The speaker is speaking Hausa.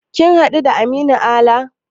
Ka haɗu da Aminu Ala?